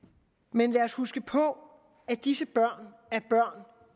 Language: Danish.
men lad os huske på at disse børn